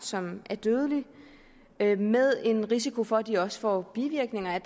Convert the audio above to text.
som er dødelig med med en risiko for at de også får bivirkninger af